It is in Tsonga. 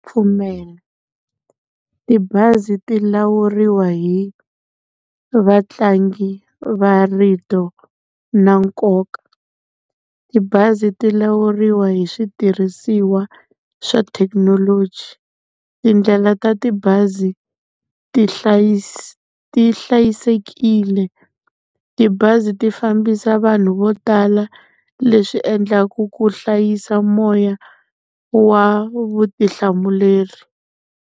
Pfumela tibazi ti lawuriwa hi vatlangi va rito na nkoka. Tibazi ti lawuriwa hi switirhisiwa swa thekinoloji, tindlela ta tibazi ti hlayisekile, tibazi ti fambisa vanhu vo tala leswi endlaku ku hlayisa moya wa vutihlamuleri.